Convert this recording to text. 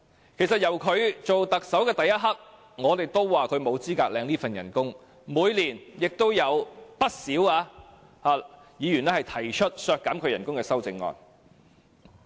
由他出任特首的那一刻，我們都說他沒有資格領取這份薪酬，每年亦有不少議員提出削減其薪酬的修正案。